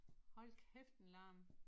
Hold kæft en larm